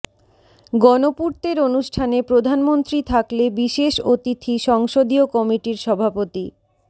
গণপূর্তের অনুষ্ঠানে প্রধানমন্ত্রী থাকলে বিশেষ অতিথি সংসদীয় কমিটির সভাপতি